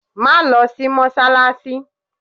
Má lọ sí mọ́ṣáláṣí.